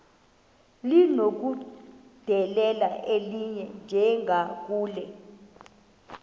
linokudedela elinye njengakule